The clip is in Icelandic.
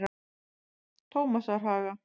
Tómasarhaga